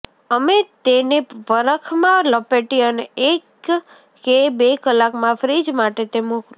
અમે તેને વરખ માં લપેટી અને એક કે બે કલાકમાં ફ્રિજ માટે તે મોકલો